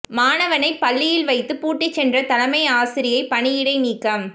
மாணவனை பள்ளியில் வைத்து பூட்டிச் சென்ற தலைமை ஆசிரியை பணியிடை நீக்கம்